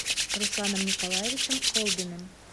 русланом николаевичем колбиным